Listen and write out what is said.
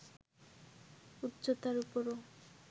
উচ্চতার উপরও